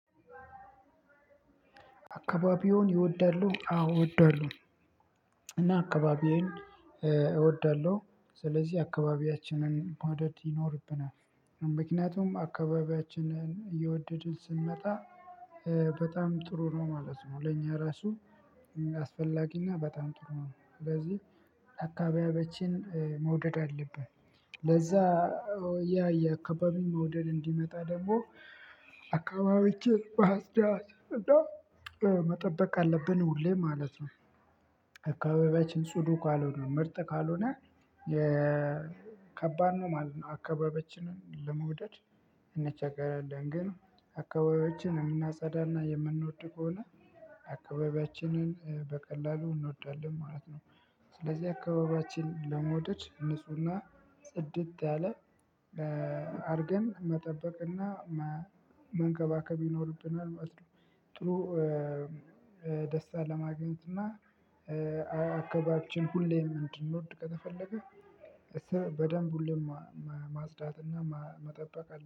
አካባቢውን ይወዳሉ? አዎ እወዳለሁ እና አካባቢዬን እወዳለሁ ስለዚህ አካባቢያችንን መውደድ ይኖርብናል ምክንያቱም አካባቢያችንን እየወደድን ስንመጣ በጣም ጥሩ ነው ማለት ነው ለኛ ራሱ አስፈላጊና በጣም ጥሩ ነው ስለዚህ አካባቢያችንን መውደድ አለብን ለዛ ያ የአካባቢ መውደድ እንዲመጣ ደግሞ አካባቢያችንን ማጽዳት እና መጠበቅ አለብን ሁሌ ማለት ነው አካባቢያችን ጽዱ ካልሆነ ምርጥ ካልሆነ የ ከባድ ነው ማለት ነው። አካባቢያችንን ለመውደድ እንቸገራለን ግን አካባቢያችንን የምናጸዳ እና የምንወድ ከሆነ አካባቢያችንን በቀላሉ እንወዳለን ማለት ነው። ስለዚህ አካባቢያችንን ለመውደድ ንፁህና ጽድት ያለ አድርገን መጠበቅና መንከባከብ ይኖርብናል ማለት ነው ደስታ ለማግኘት እና አካባቢያችን ሁሌም እንድንወድ ከተፈለገ በደንብ ሁሌም ማጽዳትና መጠበቅ